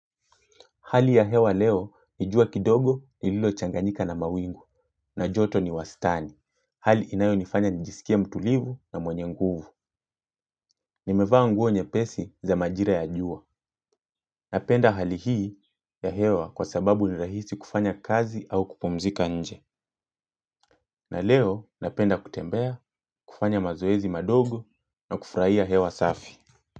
Hali ya hewa leo ni jua kidogo lililochanganika na mawingu na joto ni wastani. Hali inayonifanya nijisikia mtulivu na mwenye nguvu. Nimevaa nguo nyepesi za majira ya jua. Napenda hali hii ya hewa kwa sababu ni rahisi kufanya kazi au kupomzika nje. Na leo napenda kutembea, kufanya mazoezi kidogo, na kufurahia hewa safi.